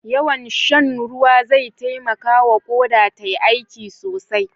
Yawan shan ruwa zai taimakawa Ƙoda tayi aiki sosai.